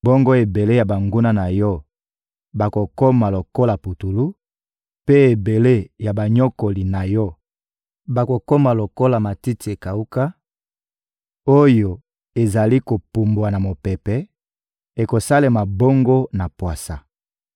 Bongo ebele ya banguna na yo bakokoma lokola putulu, mpe ebele ya banyokoli na yo bakokoma lokola matiti ekawuka oyo ezali kopumbwa na mopepe; ekosalema bongo na pwasa.